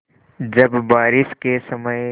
जब बारिश के समय